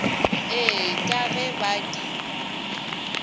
ee ka ge ba di